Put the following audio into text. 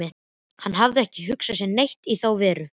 Hann hafði ekki hugsað sér neitt í þá veru.